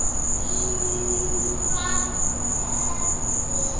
Einfalt kerfi.